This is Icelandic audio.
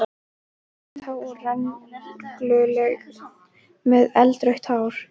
Þú varst há og rengluleg með eldrautt hár.